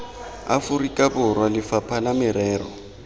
aforika borwa lefapha la merero